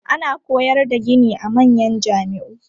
Ana koyar da gini a manyan jami'u.